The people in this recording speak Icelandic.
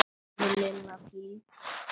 sagði Lilla fýld.